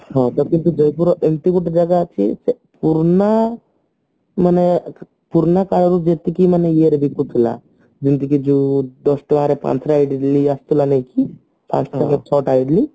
ଜୟପୁରରେ ଏମତି ଗୋଟେ ଜାଗା ଅଛି ସେ ପୁରଣା ମାନେ ପୁରୁଣା କାଳରୁ ଯେତିକି ଇଏରେ ବିକୁଥିଲା ଯେମିତିକି ଯୋଉ ଦଶଟଙ୍କାରେ ପାଞ୍ଚଟା ଇଡିଲି ନେଇକି ଆସୁଥିଲା ନାଇଁକି ପାଞ୍ଚ ଟଙ୍କାରେ ଛଅ ଟା ଇଡିଲି